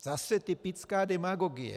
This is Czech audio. Zase typická demagogie.